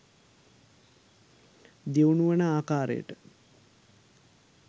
දියුණු වන ආකාරයට